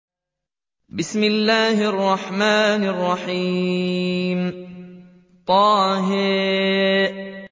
طه